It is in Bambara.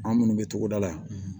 An minnu bɛ togoda la